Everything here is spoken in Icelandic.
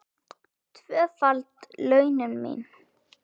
Tvöföld launin mín.